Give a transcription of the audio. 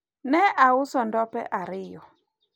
ne auso ndope ariyo